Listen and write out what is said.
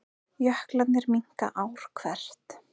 Jöklarnir minnka ár hvert